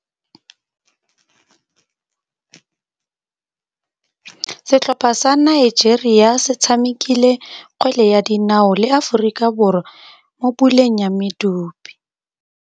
Setlhopha sa Nigeria se tshamekile kgwele ya dinaô le Aforika Borwa mo puleng ya medupe.